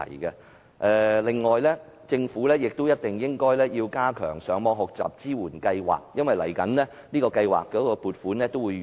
此外，政府亦必須加強上網學習支援計劃，因為此計劃的撥款協議即將終止。